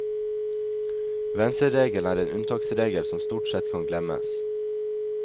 Venstreregelen er en unntaksregel som stort sett kan glemmes.